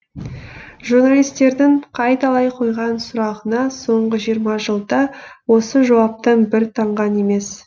журналистердің қайталай қойған сұрағына соңғы жиырма жылда осы жауаптан бір танған емес